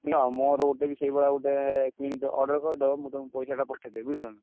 କିଣ ମୋର ଗୋଟେବି ସେଇଭଳିଆ ଗୋଟେ କିଣିଦିଅ order କରିଦବ। ମୁଁ ତମୁକୁ ପଇସାଟା ପଠେଇଦେବି ବୁଝିଲନା?